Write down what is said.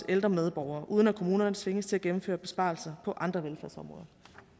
ældre medborgere uden at kommunerne tvinges til at gennemføre besparelser på andre velfærdsområder